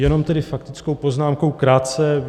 Jenom tedy faktickou poznámkou krátce.